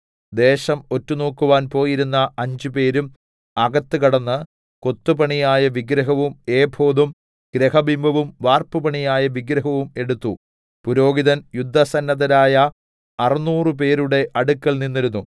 ദേശം ഒറ്റുനോക്കുവാൻ പോയിരുന്ന അഞ്ചുപേരും അകത്ത് കടന്ന് കൊത്തുപണിയായ വിഗ്രഹവും ഏഫോദും ഗൃഹബിംബവും വാർപ്പുപണിയായ വിഗ്രഹവും എടുത്തു പുരോഹിതൻ യുദ്ധസന്നദ്ധരായ അറുനൂറുപേരുടെ അടുക്കൽ നിന്നിരുന്നു